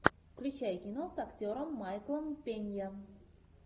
включай кино с актером майклом пенья